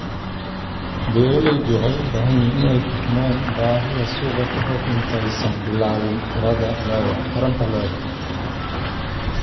Beeralayda waxay u baahan yihiin inay fahmaan baahida suuqa ka hor intaysan bilaabin taranta lo'da.